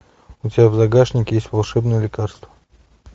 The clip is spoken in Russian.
у тебя в загашнике есть волшебное лекарство